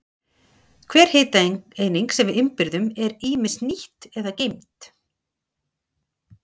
Hver hitaeining sem við innbyrðum er ýmist nýtt eða geymd.